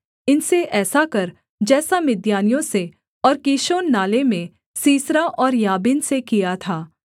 इनसे ऐसा कर जैसा मिद्यानियों से और कीशोन नाले में सीसरा और याबीन से किया था